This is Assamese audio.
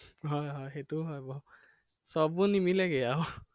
হয় হয় সেইটো হয় বাৰু। সকলোবোৰ নিমিলেগে আৰু।